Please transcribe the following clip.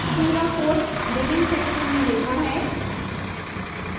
पूरा code begin section में लिखा है